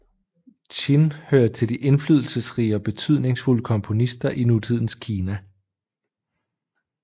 Qin hører til de indflydelsesrige og betydningsfulde komponister i nutidens Kina